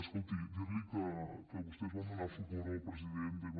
escolti dir li que vostès van donar suport al president m